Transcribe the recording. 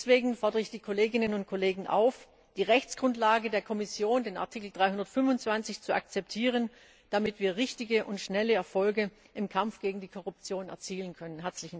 Deswegen fordere ich die Kolleginnen und Kollegen auf, die Rechtsgrundlage der Kommission, den Artikel 325, zu akzeptieren, damit wir richtige und schnelle Erfolge im Kampf gegen die Korruption erzielen können!